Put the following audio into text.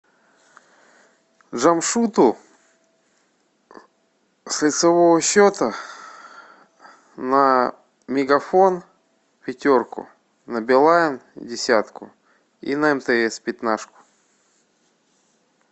джамшуту с лицевого счета на мегафон пятерку на билайн десятку и на мтс пятнашку